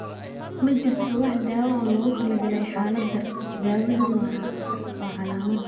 Ma jirto wax daawo ah oo loogu talagalay xaaladda, daawaduna waa calaamad.